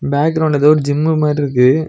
பேக்ரவுண்ட்ல எதோ ஒரு ஜிம்மு மார்ருக்கு.